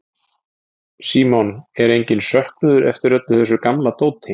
Símon: Er enginn söknuður eftir öllu þessu gamla dóti?